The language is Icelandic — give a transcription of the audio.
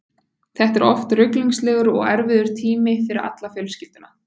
Þetta er oft ruglingslegur og erfiður tími fyrir alla fjölskylduna.